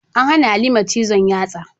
An hana Halima cizon yatsa.